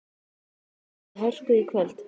En býst hún við hörku í kvöld?